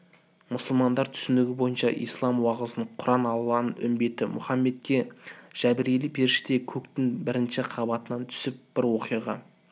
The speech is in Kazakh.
мұсылмандар түсінігі бойынша ислам уағызында құран алланың үмбеті мұхаммедке жәбірәйіл періште көктің бірінші қабатынан түсіріп бір оқиға